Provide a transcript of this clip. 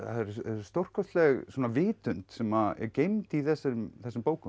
stórkostleg vitund sem er geymd í þessum þessum bókum